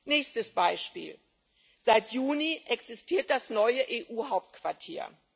Nächstes Beispiel Seit Juni existiert das neue EU Hauptquartier.